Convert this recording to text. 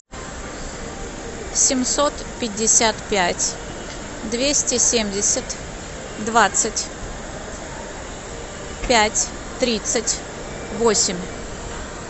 семьсот пятьдесят пять двести семьдесят двадцать пять тридцать восемь